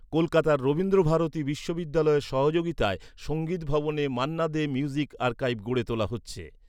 কলকাতার রবীন্দ্র ভারতী বিশ্ববিদ্যালয়ের সহযোগিতায়, সঙ্গীত ভবনে মান্না দে মিউজিক আর্কাইভ গড়ে তোলা হচ্ছে।